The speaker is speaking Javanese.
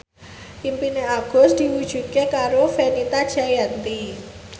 impine Agus diwujudke karo Fenita Jayanti